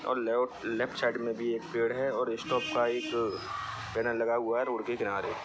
और left side मे भी एक पेड़ है और स्टॉप का एक पैनल लगा हुआ है रोड के किनारे।